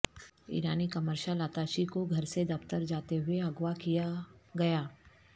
ایرانی commercial attache کوگھر سے دفتر جاتے ہوئے اغوا کیا گیا